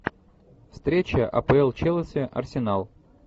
встреча апл челси арсенал